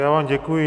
Já vám děkuji.